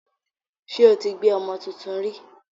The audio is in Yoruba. Ṣé o ti gbé ọmọ tuntun rí?